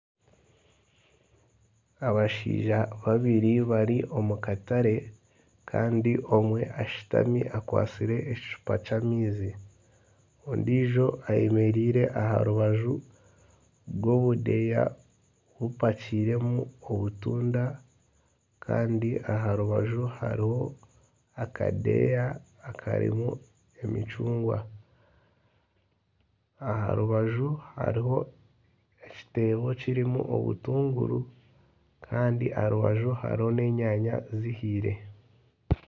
Abashaija babiri bari omu katare. Kandi omwe ashutami akwatsire ekicupa ky'amaizi. Ondiijo ayemereire aha rubaju rw'obudeeya bupakiiremu obutunda. Kandi aha rubaju hariho akadeeya akarimu emicungwa. Aha rubaju hariho ekiteebo kirimu obutunguru kandi aha rubaju hariho n'enyaanya zihiire.